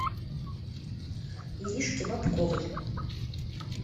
иришке бобковой